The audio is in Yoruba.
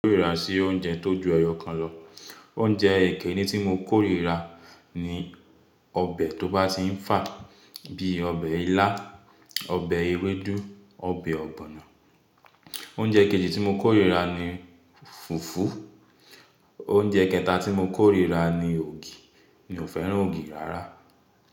Kórira sí oúnjẹ tó ju ẹyọ kan lọ. Oúnjẹ kini tí mo kórira ni ọbẹ̀ tó bá ti ń fà bí i ọbẹ̀ ilá, ọbẹ̀ ewédú, ọbẹ̀ ọ̀gbọ̀nà. Oúnjẹ kejì tí mo kórira ni fùfú. Oúnjẹ kẹta tí mo kórira ni ògì, mi ò fẹ́ràn ògì rárá.